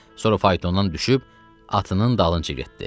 Sonra faytondan düşüb atının dalınca getdi.